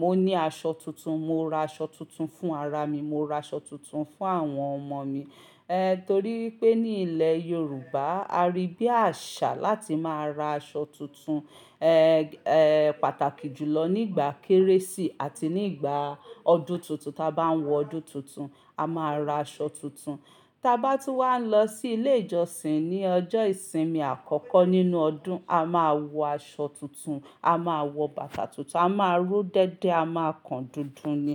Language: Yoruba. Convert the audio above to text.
mo ní aṣọ tuntun. Mo ra aṣọ tuntun fún ara mi, mo ra aṣọ tuntun fún àwọn ọmọ mi. Eh, torí pé ní ilẹ̀ Yorùbá, a rí bí àṣà láti máa ra aṣọ tuntun, eh, eh, pàtàkì jùlọ nígbà kérésì àti nígbà ọdún tuntun. Tí a bá ń wọ ọdún tuntun, a máa ra aṣọ tuntun. Tí a bá tún wá lọ sí ilé ìjọsìn ní ọjọ́ ìsinmi àkọ́kọ́ nínú ọdún, a máa wọ aṣọ tuntun, a máa wọ bàtà tuntun, a máa ró dédé, a máa kan dúndún ni.